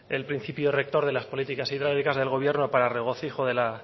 el principio rector de las políticas hidráulicas del gobierno para el regocijo de la